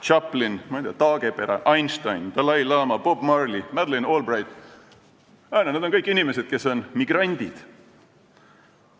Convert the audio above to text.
Chaplin, ma ei tea, Taagepera, Einstein, dalai-laama, Bob Marley, Madeleine Albright – nad on kõik migrandid.